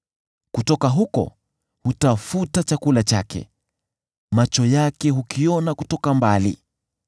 Kutoka huko hutafuta chakula chake; macho yake hukiona kutoka mbali.